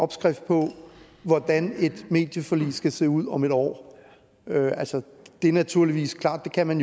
opskriften på hvordan et medieforlig skal se ud om et år altså det er naturligvis klart at man